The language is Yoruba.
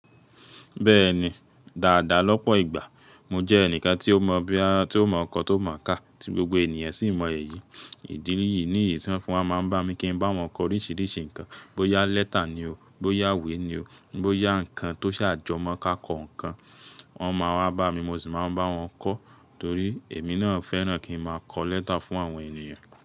Bẹ́ẹ̀ni, dáadáa lọ́pọ̀ ìgbà. Mo jẹ́ ẹnìkan tí ó mọ boya, tí ó mọ kọ tó mọ̀ ká, tí gbogbo ènìyàn sì mọ èyí ìdí níyí ní iyí tí wọ́n máa ń bá mi kí n bá wọn kọ oríṣiríṣi nǹkan. Bo yá lẹ́tà ni o, bo yá ìwé ni o, bo yá nǹkan tó ṣàjọmọ́ ká kọ́ nǹkan. Wọ́n máa wá bá mi mo sì máa ń bá wọn kọ́ torí èmi náà fẹ́ràn kí ń máa kọ lẹ́tà fún àwọn ènìyàn.